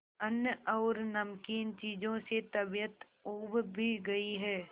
अन्न और नमकीन चीजों से तबीयत ऊब भी गई है